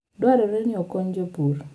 Dwarore ni okony jopur.